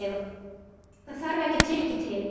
Það þarf ekki Tyrki til.